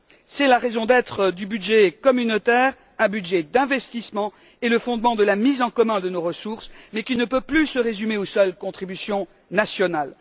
C'est la raison d'être du budget communautaire, un budget d'investissement et le fondement de la mise en commun de nos ressources, mais qui ne peut plus se résumer aux seules contributions nationales.